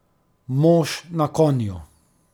Mož na konju.